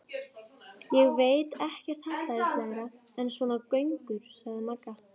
Ég veit ekkert hallærislegra en svona göngur, sagði Magga.